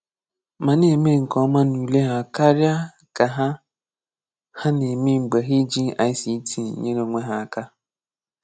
Mà na-eme nke ọ́ma n’ùlé ha kàríá ka hà hà na-eme mgbè hà èjìghị ICT nyere onwe hà aka.